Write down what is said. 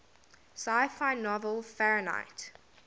sci fi novel fahrenheit